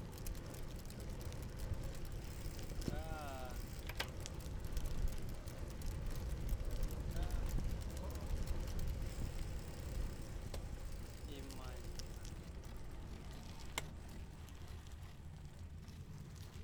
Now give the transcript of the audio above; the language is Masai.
Hesitation, read the question instead of giving an answer